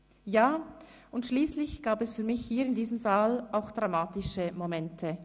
Ja, und schliesslich gab es für mich hier in diesem Saal auch dramatische Momente.